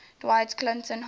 dewitt clinton high